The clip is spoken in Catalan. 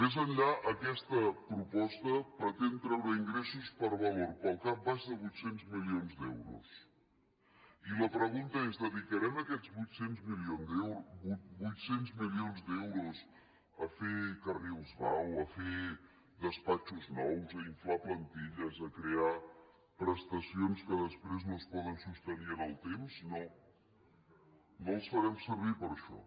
més enllà aquesta proposta pretén treure ingressos per valor pel cap baix de vuit cents milions d’euros i la pregunta és dedicarem aquests vuit cents milions d’euros a fer carrils vao a fer despatxos nous a inflar plantilles a crear prestacions que després no es poden sostenir en el temps no no els farem servir per a això